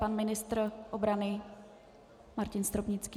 Pan ministr obrany Martin Stropnický.